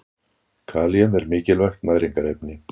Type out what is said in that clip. Kalíum er mikilvægt næringarefni.